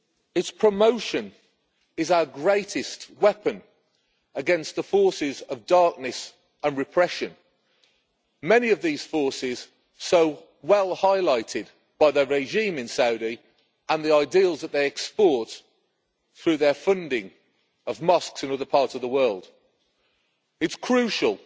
Its promotion is our greatest weapon against the forces of darkness and repression, many of these forces so well highlighted by the regime in Saudi and the ideals that they export through their funding of mosques in other parts of the world. It is crucial